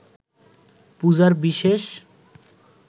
পূজার বিশেষ